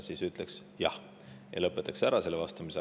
–, siis ütleks jah ja lõpetaks selle vastuse ära.